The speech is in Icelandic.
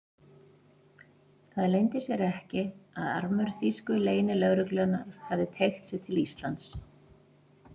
Það leyndi sér ekki, að armur þýsku leynilögreglunnar hafði teygt sig til Íslands.